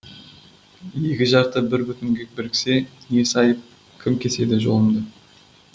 екі жарты бір бүтінге біріксе несі айып кім кеседі жолымды